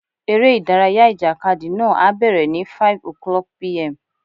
Eré ìdárayá ìjàkadì náà á bẹ̀rẹ̀ ní 5:00pm.